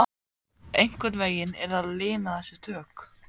Einhvern veginn yrði að lina þessi tök